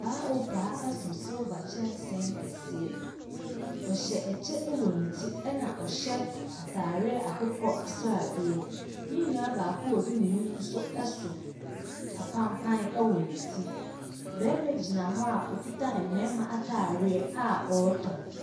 Paa o paa ɛso silva kyensee kɛseɛ. W'ɔhyɛ ɛkyɛ ɛwɔ ne ti ɛna ɔhyɛ ataadeɛ akokɔsrade. Ne nua baako a odi n'anim nso. ɛso apanpan ɛwɔ ne ti. Bɛma gyina hɔ a okita mmɛma yareɛ a ɔtɔn.